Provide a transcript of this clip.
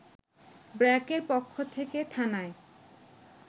ব্র্যাকের পক্ষ থেকে থানায়